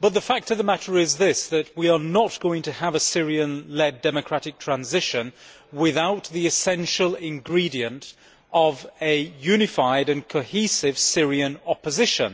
But the fact of the matter is that we are not going to have a Syrian led democratic transition without the essential ingredient of a unified and cohesive Syrian opposition.